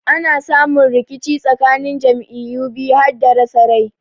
Ana samu rikici tsakanin jam'iyyu biyu hada rasa rai.